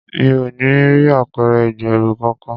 Mi ò rí apẹ̀rẹ̀ ìgbẹ́rù kọkàn.